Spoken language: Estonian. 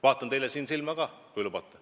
Vaatan teile seda öeldes silma ka, kui lubate.